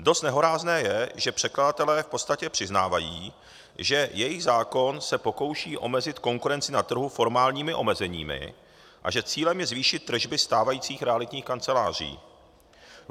Dost nehorázné je, že předkladatelé v podstatě přiznávají, že jejich zákon se pokouší omezit konkurenci na trhu formálními omezeními a že cílem je zvýšit tržby stávajících realitních kancelářích.